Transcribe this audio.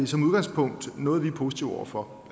som udgangspunkt noget vi er positive over for